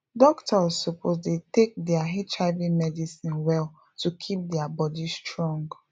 doctors suppose dey take their hiv medicine well to keep their body strong